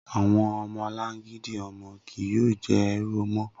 Awọn ọmọlangidi ọmọ kii yoo jẹ ẹru mọ